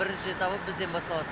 бірінші этапы бізден басталады